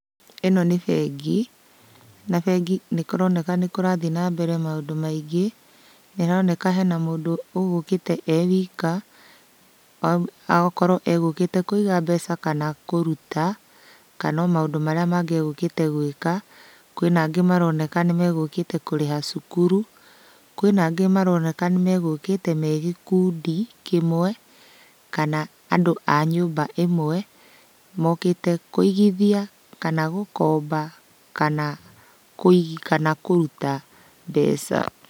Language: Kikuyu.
Ĩno nĩ bengi, na bengi nĩkũroneka nĩkũrathiĩ na mbere maũndũ maingĩ. Nĩroneka hena mũndũ ũgũkĩte e wika, agakorwo egũkĩte kũiga mbeca kana kũruta, kana o maũndũ marĩa mangĩ egũkĩte gwĩka. Kwĩna angĩ maroneka nĩmegũkĩte kũrĩha cukuru. Kwĩna angĩ maroneka nĩmegũkĩte me gĩkundi kĩmwe, kana andũ a nyũmba ĩmwe, mokĩte kũigithia kana gũkomba kana kũi kana kũruta mbeca.